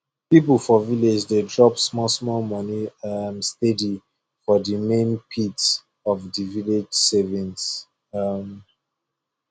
people for village dey drop small small money um steady for the main pit of the village savings um